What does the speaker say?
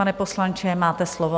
Pane poslanče, máte slovo.